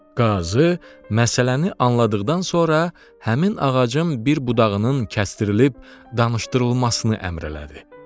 Qazı məsələni anladıqdan sonra həmin ağacın bir budağının kəsdirilib danışdırılmasını əmr elədi.